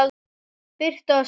Birta og Sveinn.